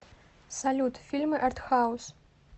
салют фильмы артхаус